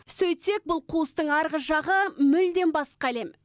сөйтсек бұл қуыстың арғы жағы мүлдем басқа әлем